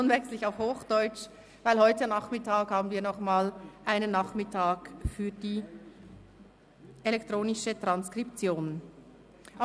Nun wechsle ich auf Hochdeutsch, da wir heute Nachmittag nochmals eine elektronische Transkription haben.